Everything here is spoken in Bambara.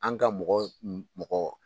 An ka mɔgɔ mɔgɔ.